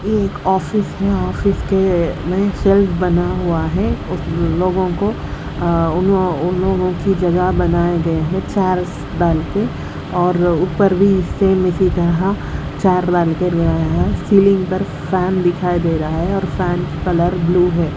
एक ऑफिस में ऑफिस के नए सेल्स बना हुआ है उसमें लोगों को उन लोगों की जगह बनाए गए और ऊपर भी सेम इसी तरह सीलिंग पर फैन दिखाई दे रहा है और फैन कलर ब्लू है।